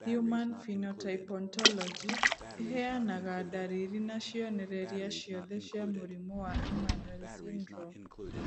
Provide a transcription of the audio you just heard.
Human Phenotype Ontology ĩheanaga ndariri na cionereria ciothe cia mũrimũ wa Emanuel syndrome.